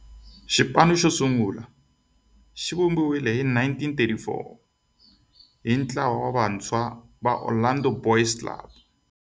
Xipano xosungula xivumbiwile hi 1934 hi ntlawa wa vantshwa va Orlando Boys Club.